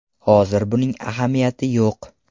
Hozir buning ahamiyati yo‘q.